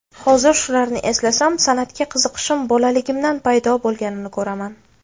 Hozir shularni eslasam, san’atga qiziqishim bolaligimdan paydo bo‘lganini ko‘raman.